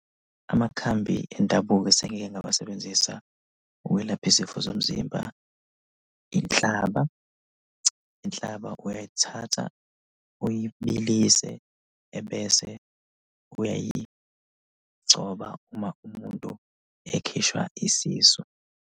Amakhambi endabuko esengike ngawasebenzisa ukwelapha izifo zomzimba, inhlaba. Inhlaba uyayithatha uyibilise ebese uyayigcoba uma umuntu ekhishwa isisu.